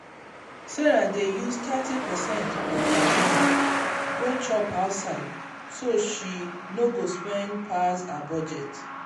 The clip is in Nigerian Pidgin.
sarah dey use thirty percent of her money go chop outside so she no go spend pass her budget.